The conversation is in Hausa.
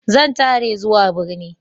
Zan tare zuwa birni.